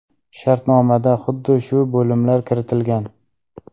Shartnomada xuddi shu bo‘limlar kiritilgan.